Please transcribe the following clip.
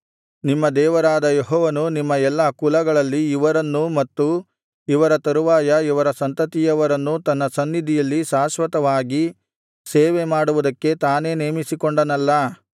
ನಿಮ್ಮ ದೇವರಾದ ಯೆಹೋವನು ನಿಮ್ಮ ಎಲ್ಲಾ ಕುಲಗಳಲ್ಲಿ ಇವರನ್ನೂ ಮತ್ತು ಇವರ ತರುವಾಯ ಇವರ ಸಂತತಿಯವರನ್ನೂ ತನ್ನ ಸನ್ನಿಧಿಯಲ್ಲಿ ಶಾಶ್ವತವಾಗಿ ಸೇವೆ ಮಾಡುವುದಕ್ಕೆ ತಾನೇ ನೇಮಿಸಿಕೊಂಡನಲ್ಲಾ